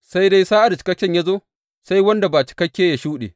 Sai dai sa’ad da cikakken ya zo, sai wanda ba cikakke yă shuɗe.